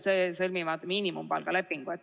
Nad ju sõlmivad ka miinimumpalgalepingu.